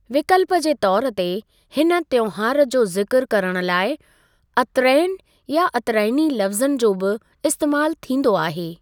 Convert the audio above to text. विकल्‍प जे तौर ते, हिन त्योहारु जो ज़िक्र करण लाइ 'अत्रैन' या 'अत्रैनी' लफ्ज़नि जो बि इस्‍तेमालु थींदो आहे।